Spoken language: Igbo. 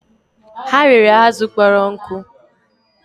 Ha rere azụ kpọrọ nkụ